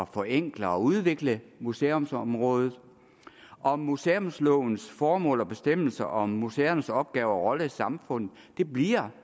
forenkle og udvikle museumsområdet og museumslovens formål og bestemmelser om museernes opgave og rolle i samfundet bliver